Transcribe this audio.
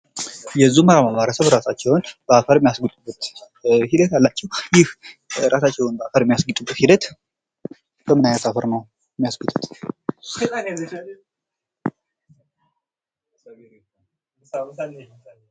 የዙምባባ ማህበረሰብ በአፈር እራሳቸውን የሚያስጌጡበት ሂደት አላቸው። ይህ ራሳቸውን በአፈር የሚያስግጡበት ሂደት በምን ዓይነት አፈር ነው የሚያስጌጡት?